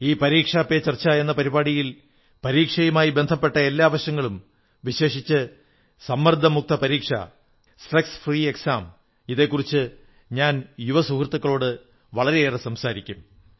ഈ പരീക്ഷാ പേ ചർച്ച എന്ന പരിപാടിയിൽ പരീക്ഷയുമായി ബന്ധപ്പെട്ട എല്ലാ വശങ്ങളും വിശേഷിച്ച് സമ്മർദ്ദ മുക്തപരീക്ഷ സ്ട്രസ് ഫ്രീ എക്സാംയെക്കുറിച്ച് ഞാൻ യുവ സുഹൃത്തുക്കളോടു വളരെയേറെ സംസാരിക്കും